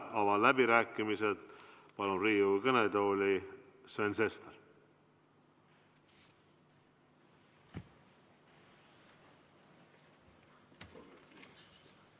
Avan läbirääkimised, ja palun Riigikogu kõnetooli Sven Sesteri.